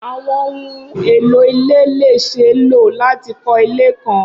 Awọn ohun elo ile le ṣee lo lati kọ ile kan